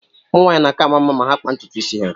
Ụmụ nwaanyị na-aka ama mma ma ha kpaa ntutu isi ha.